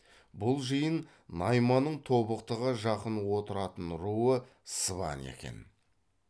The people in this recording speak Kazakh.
бұл жиын найманның тобықтыға жақын отыратын руы сыбан екен